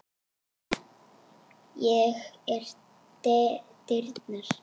Ég er dyrnar.